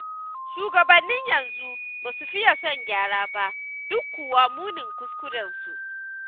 Shugabannin yanzu ba su fiya son gyara ba, duk kuwa munin kuskurensu.